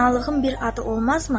Fənalığın bir adı olmazmı?